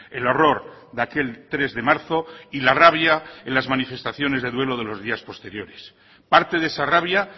el horror de aquel tres de marzo y la rabia en las manifestaciones de duelo de los días posteriores parte de esa rabia